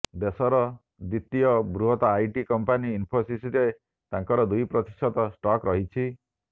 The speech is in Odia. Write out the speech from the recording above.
ଦେଶର ଦ୍ୱିତୀୟ ବୃହତ ଆଇଟି କମ୍ପାନୀ ଇନଫୋସିସରେ ତାଙ୍କର ଦୁଇ ପ୍ରତିଶତ ଷ୍ଟକ ରହିଛି